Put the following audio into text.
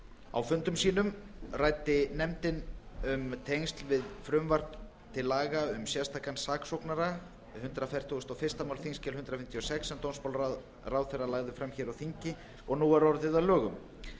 á fundum sínum ræddi nefndin einnig um tengsl við frumvarp til laga um sérstakan saksóknara hundrað fertugasta og fyrsta mál þingskjal hundrað fimmtíu og sex sem dómsmálaráðherra lagði fram hér á þingi og nú er orðið lögum